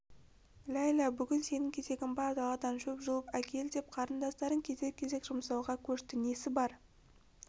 ләйлә бүгін сенің кезегің бар даладан шөп жұлып әкел деп қарындастарын кезек-кезек жұмсауға көшті несі бар